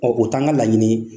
o t'an ka laɲini ye